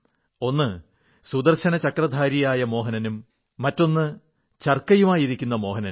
ഒന്ന് സുദർശനചക്രധാരിയായ മോഹനനും മറ്റൊന്ന് ചർക്കയുമായിരിക്കുന്ന മോഹനനും